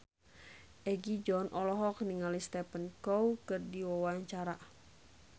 Egi John olohok ningali Stephen Chow keur diwawancara